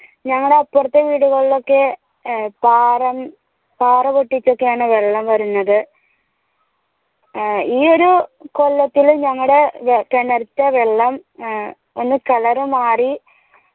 ഞങ്ങടെ അപ്പറത്തെ വീടുകളിൽ ഒക്കെ പാറ പാറ പൊട്ടിച്ചൊക്കെയാണ് വള്ളം വരുന്നത് ഈ ഒരു കൊല്ലത്തിൽ ഞങ്ങടെ കിണത്തെ വെള്ളം ഒന്ന് color മാറി